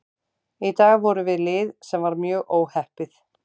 Í dag vorum við lið sem var mjög óheppið.